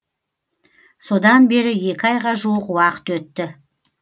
содан бері екі айға жуық уақыт өтті